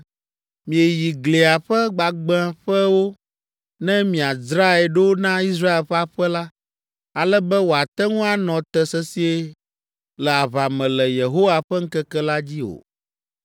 Mieyi glia ƒe gbagbãƒewo ne miadzrae ɖo na Israel ƒe aƒe la, ale be wòate ŋu anɔ te sesĩe le aʋa me le Yehowa ƒe ŋkeke la dzi o.